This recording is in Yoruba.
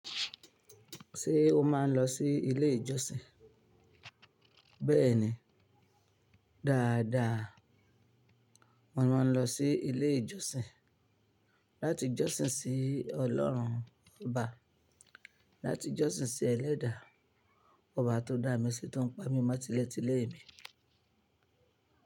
Ṣé o máa ń lọ sí ilé ìjọsìn? Bẹ́ẹ̀ni, dáadáa. Mo máa ń lọ sí ilé ìjọsìn láti jọ́sìn sí Ọlọ́run Ọba, láti jọ́sìn sí ẹlẹ́dà, ọba tó dá mi ṣe tó ń pa mí mọ́ ti ilé ti lè mi.